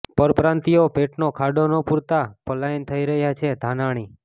પરપ્રાંતિયો પેટનો ખાડો ન પુરાતાં પલાયન થઇ રહ્યા છેઃ ધાનાણી